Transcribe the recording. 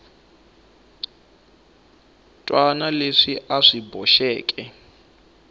wana leswi a swi boxeke